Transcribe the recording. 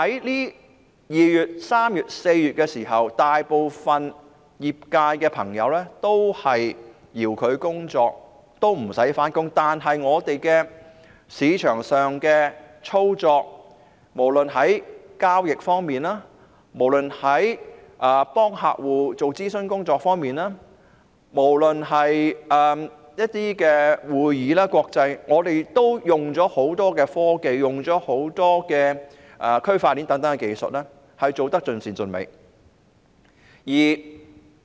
在2月、3月及4月，大部分業界朋友都是遙距工作，不用上班，但對於市場上的操作，無論是交易、為客戶提供諮詢服務或舉行一些國際會議，我們都運用了很多科技，應用了區塊鏈等大量技術，做得盡善盡美。